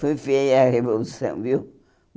Foi feia a Revolução, viu?